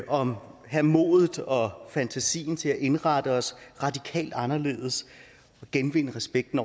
om at have modet og fantasien til at indrette os radikalt anderledes og genvinde respekten